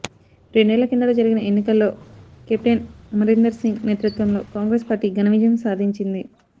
రెండేళ్ల కిందట జరిగిన ఎన్నికల్లో కేప్టెన్ అమరీందర్ సింగ్ నేతృత్వంలో కాంగ్రెస్ పార్టీ ఘన విజయం సాధించింది